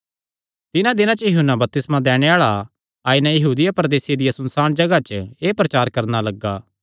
तिन्हां दिनां च यूहन्ना बपतिस्मा दैणे आल़ा आई नैं यहूदिया प्रदेसे दिया सुनसाण जगाह च एह़ प्रचार करणा लग्गा